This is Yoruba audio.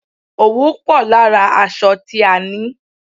Òwú pò lára aṣọ tí a ni.